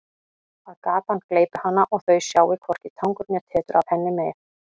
Að gatan gleypi hana og þau sjái hvorki tangur né tetur af henni meir.